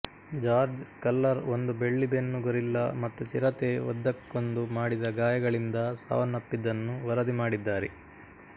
George Schaller ಒಂದು ಬೆಳ್ಳಿಬೆನ್ನು gorilla ಮತ್ತು ಚಿರತೆ ಒದ್ದಕ್ಕೊಂದು ಮಾಡಿದ ಗಾಯಗಳಿಂದ ಸಾವನ್ನಪ್ಪಿದ್ದನ್ನು ವರದಿ ಮಾಡಿದ್ದಾರೆ